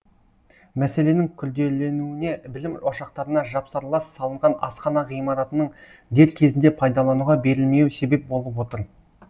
мәселенің күрделенуіне білім ошақтарына жапсарлас салынған асхана ғимаратының дер кезінде пайдалануға берілмеуі себеп болып отыр